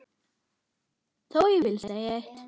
Þó vil ég segja eitt.